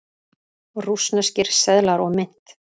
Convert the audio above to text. Rússneskir seðlar og mynt.